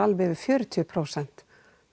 yfir fjörutíu prósent